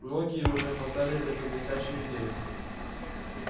многие уже хватались за эту блестящую идею